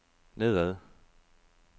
nedad